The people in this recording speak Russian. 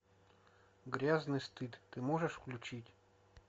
грязный стыд ты можешь включить